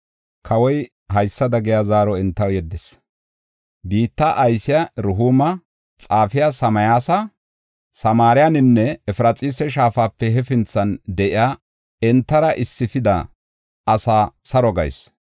Kawoy haysada giya zaaro entaw yeddis; “Biitta aysiya Rehuuma, xaafiya Simsaya, Samaareninne Efraxiisa Shaafape hefinthan de7iya entara issifida asaa saro gayis.